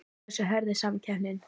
Hversu hörð er samkeppnin?